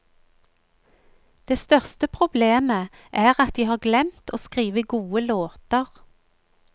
Det største problemet er at de har glemt å skrive gode låter.